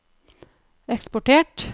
eksportert